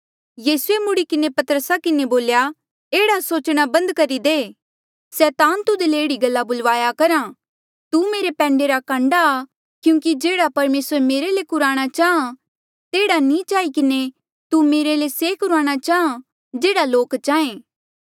यीसूए मुड़ी किन्हें पतरसा किन्हें बोल्या एह्ड़ा सोचणा बंद करी दे सैतान तुध ले एह्ड़ी गल्ला बुलवाया करहा तू मेरे पैंडे रा कांडा आ क्यूंकि जेह्ड़ा परमेसर मेरे ले कुराणा चाहाँ तेहड़ा नी चाही किन्हें तू मेरे ले से कुराणा चाहाँ जेहड़ा लोक चाहें